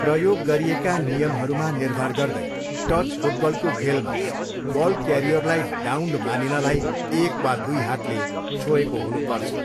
प्रयोग गरिएका नियमहरूमा निर्भर गर्दै, टच फुटबलको खेलमा बल क्यारियरलाई डाउन्ड मानिनलाई एक वा दुई हातले छोएको हुनुपर्छ।